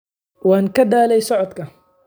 Waan ka daalay socodka